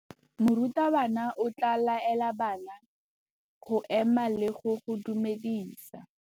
Morutabana o tla laela bana go ema le go go dumedisa.